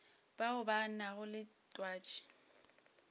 bao ba nago le twatši